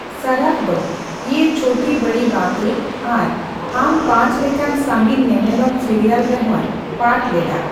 ᱥᱚᱨᱚᱯᱷ ᱫᱚ ᱤᱭᱮ ᱪᱷᱳᱴᱤ ᱵᱚᱲᱤ ᱵᱟᱸᱛᱮ ᱟᱨ ᱦᱟᱢ ᱯᱟᱸᱪ ᱞᱮᱠᱟᱱ ᱥᱟᱺᱜᱤᱧ ᱧᱮᱱᱮᱞᱚᱢ ᱥᱤᱨᱤᱭᱟᱞ ᱨᱮᱦᱚᱸᱭ ᱯᱟᱴᱷ ᱞᱮᱫᱟ ᱾